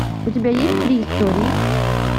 у тебя есть три истории